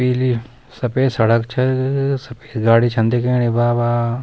पीली सफेद सड़क च सफेद गाड़ी छन दिखेणि बाबा।